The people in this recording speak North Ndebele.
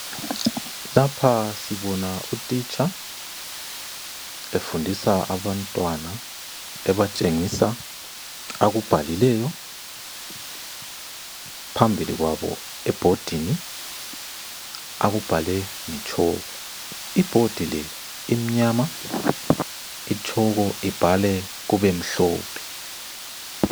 Lapha sibona utitsha efundisa abantwana, ebatshengisa akubhalileyo phambili kwabo ebhodini, akubhale ngetshoko. Ibhodi le imnyama itshoko ibhale kubemhlophe.